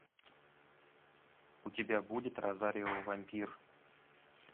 у тебя будет розарио вампир